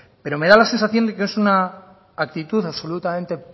pero me da la sensación de que es una actitud absolutamente